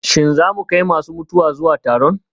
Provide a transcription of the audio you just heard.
Shin za mu kai masu mutuwa zuwa taron?